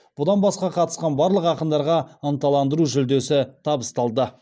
бұдан басқа қатысқан барлық ақындарға ынталандыру жүлдесі табысталды